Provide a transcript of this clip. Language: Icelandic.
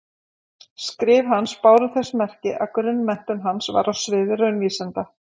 Skrif hans báru þess merki að grunnmenntun hans var á sviði raunvísinda.